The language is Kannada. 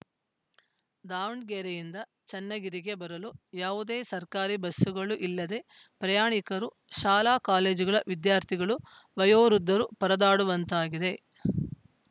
ದಾವಣಗೆರೆಯಿಂದ ಚನ್ನಗಿರಿಗೆ ಬರಲು ಯಾವುದೇ ಸರ್ಕಾರಿ ಬಸ್‌ಗಳು ಇಲ್ಲದೆ ಪ್ರಯಾಣಿಕರು ಶಾಲಾಕಾಲೇಜುಗಳ ವಿದ್ಯಾರ್ಥಿಗಳು ವಯೋವೃದ್ದರು ಪರದಾಡುವಂತಾಗಿದೆ